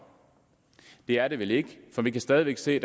det er det vel ikke for vi kan stadig væk se